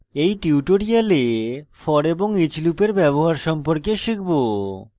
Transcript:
in tutorial for এবং each লুপের ব্যবহার সম্পর্কে শিখব